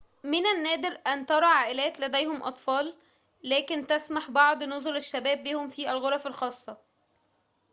من النادر أن ترى عائلات لديهم أطفال لكن تسمح بعض نُزل الشباب بهم في الغرف الخاصة